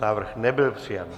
Návrh nebyl přijat.